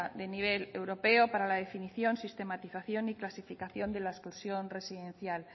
de nivel europeo para la definición sistematización y clasificación de la exclusión residencial